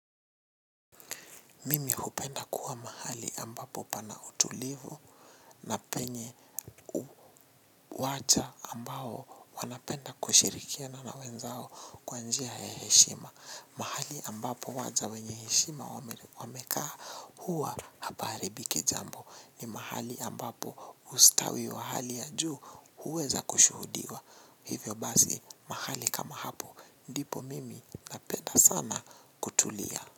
Mimi hupenda kuwa mahali ambapo pana utulivu na penye watu ambao wanapenda kushirikia na nawenzao kwanjia ya heshima. Mahali ambapo waja wenye heshima wamekaa huwa hapaharibiki jambo ni mahali ambapo ustawi wa hali ya juu huweza kushuhudiwa. Hivyo basi mahali kama hapo ndipo mimi napenda sana kutulia.